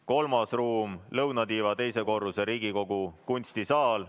Kolmas ruum on lõunatiiva teisel korrusel asuv Riigikogu kunstisaal.